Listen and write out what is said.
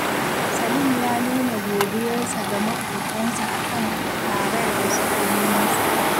Salim ya nuna godiyarsa ga maƙotansa a kan karar da suka yi masa